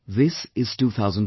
This is 2017